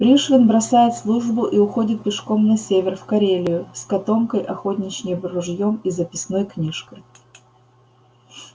пришвин бросает службу и уходит пешком на север в карелию с котомкой охотничьим ружьём и записной книжкой